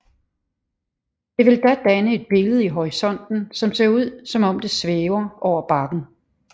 Det vil da danne et billede i horisonten som ser ud som om det svæver over bakken